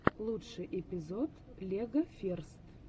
лучший эпизод легоферст